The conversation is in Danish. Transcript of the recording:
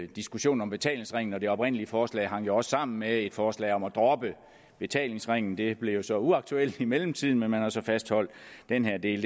diskussionen om betalingsringen og det oprindelige forslag hang også sammen med et forslag om at droppe betalingsringen det blev så uaktuelt i mellemtiden men man har så fastholdt den her del